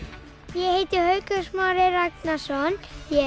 ég heiti Haukur Smári Ragnarsson ég